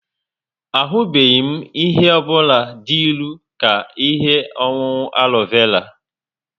Ahubeghi m ihe ọ bụla dị ilu ka ihe ọṅụṅụ arọ vela